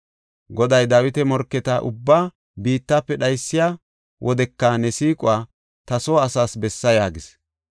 Goday Dawita morketa ubbaa biittafe dhaysiya wodeka ne siiquwa ta soo asaas bessa” yaagis.